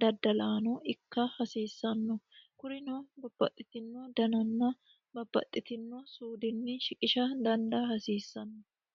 daddallano ikka hasiisano kurino babbaxitino dananna babbaxitino suudini shiqqisha dandaa hasiisano.